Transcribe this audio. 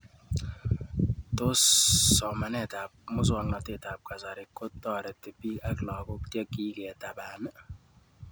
Tos somanet ab muswognatet ab kasari kotareti pik ak lakoko che kiketapan